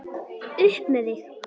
Upp með þig!